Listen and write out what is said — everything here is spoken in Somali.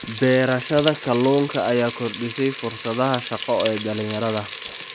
Beerashada kalluunka ayaa kordhisay fursadaha shaqo ee dhalinyarada.